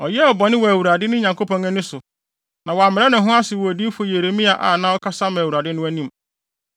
Ɔyɛɛ bɔne wɔ Awurade, ne Nyankopɔn ani so, na wammrɛ ne ho ase wɔ odiyifo Yeremia a na ɔkasa ma Awurade no anim.